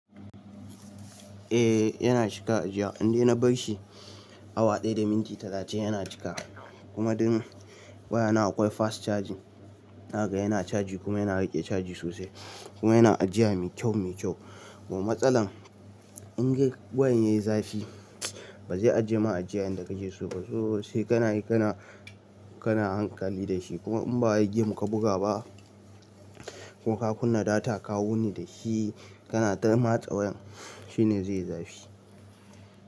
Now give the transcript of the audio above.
Eh yana cika ajiya, indai na barshi awa ɗaya da minti talatin yana cika. Kuma dun wayana akwai fast charging zakaga yana charging kuma yana rike charging sosai. Kuma yana ajiya mai kyau mai kyau. Kuma matsalar in dai wayan yayi zafi ba zai ajiye ma ajiya yanda ka ke so ba. To sai kanayi, kana, kana hankali da shi. Kuma in ba wai game ka buga ba ko ka kunna data ka wuni dashi kana ta matsa wayan shine zaiyi zafi.